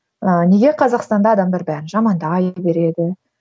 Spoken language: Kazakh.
ыыы неге қазақстанда адамдар бәрін жамандай береді